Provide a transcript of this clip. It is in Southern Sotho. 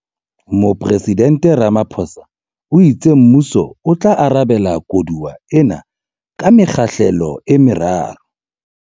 Mopresidnte Ramaphosa o itse mmuso o tla arabela koduwa ena ka mekgahlelo e meraro.